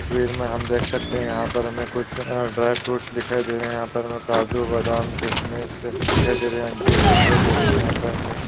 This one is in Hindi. तस्वीर मे हम देख सकते है। यहा पर हमे कुछ ड्राय फ्रूट्स दिखाई दे रहे। यहा पर हमे काजू बादाम किसमिस दिखाई दे रही। जीर दिखाई दे रही है। यहा पर हमे--